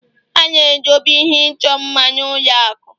A na-edobe ihe ịchọ mma n'ụlọ akụ